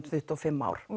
tuttugu og fimm ár